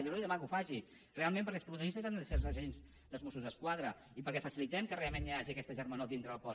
jo li demano que ho faci realment perquè els protagonistes han de ser els agents dels mossos d’esquadra i perquè facilitem que realment hi hagi aquesta germanor dintre del cos